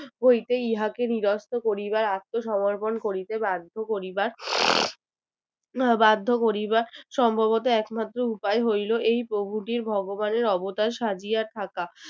হইতে ইহাকে নিরস্ত্র করিবার আত্মসমর্পণ করিতে বাধ্য করিবার আহ বাধ্য করিবার সম্ভবত একমাত্র উপায় হইল এই প্রভুটির ভগবানের অবতার সাজিয়া থাকা